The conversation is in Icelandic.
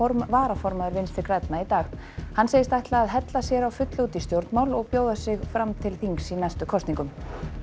varaformaður Vinstri grænna í dag hann segist ætla að hella sér á fullu út í stjórnmál og bjóða sig fram til þings í næstu kosningum